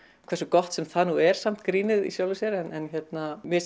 hversu gott sem það nú er samt grínið í sjálfu sér en hérna mér